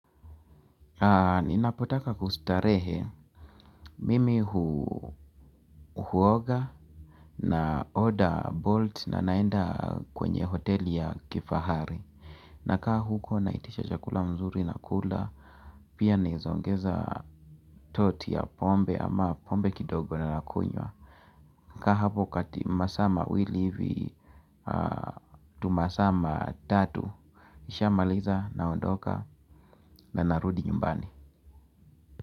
Ninapotaka kustarehe, mimi huoga na order bolt na naenda kwenye hoteli ya kifahari. Nakaa huko naitisha chakula mzuri nakula, pia naeza ongeza toti ya pombe ama pombe kidogo na nakunywa. Kaa hapo kati masaa mawili hivi, tu masaa matatu, nishamaliza naondoka na narudi nyumbani.